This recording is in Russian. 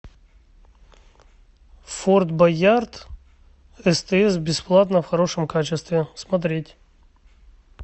форд боярд стс бесплатно в хорошем качестве смотреть